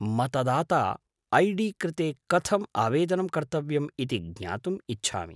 मतदाता I D कृते कथम् आवेदनं कर्तव्यम् इति ज्ञातुम् इच्छामि।